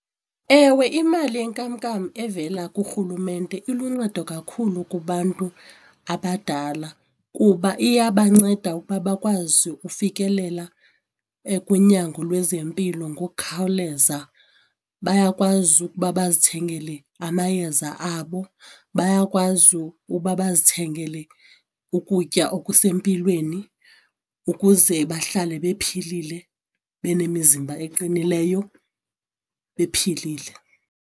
Ewe imali yenkamnkam evela kurhulumente iluncedo kakhulu kubantu abadala kuba iyabanceda ukuba bakwazi ukufikelela kunyango lwezempilo ngokukhawuleza, bayakwazi ukuba bazithengele amayeza abo, bayakwazi ukuba bazithengele ukutya okusempilweni ukuze bahlale bephilile banemizimba eqinileyo bephilile.